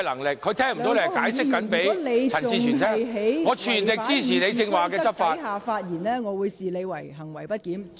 梁國雄議員，如果你仍然在違反《議事規則》的情況下發言，我會視之為行為不檢。